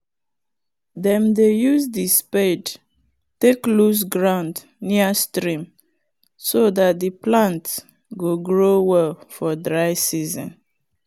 he dey always remind farmers to use cloth wrap the hand of the spade make d hand nor gather water.